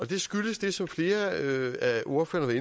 det skyldes det som flere af ordførererne